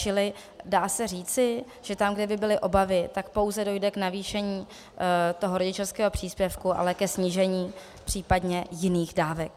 Čili dá se říci, že tam, kde by byly obavy, tak pouze dojde k navýšení toho rodičovského příspěvku, ale ke snížení případně jiných dávek.